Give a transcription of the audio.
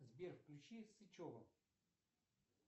сбер включи сычева